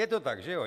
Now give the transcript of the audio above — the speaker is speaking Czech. Je to tak, že jo?